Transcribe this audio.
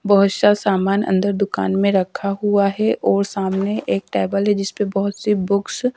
बहोत सामान अंदर दुकान में रखा हुआ है और सामने एक टेबल है जिसपे बहोत सी बुक्स --